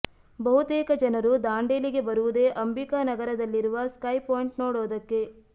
ಬಹುತೇಕ ಜನರು ದಾಂಡೇಲಿಗೆ ಬರುವುದೇ ಅಂಬಿಕಾ ನಗರದಲ್ಲಿರುವ ಸ್ಕೈ ಪಾಯಿಂಟ್ ನೋಡೋದಕ್ಕೆ